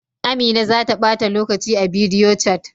Amina za ta bata lokaci a bidiyochat.